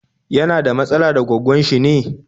Yana da matsala da gwaggon shi ne?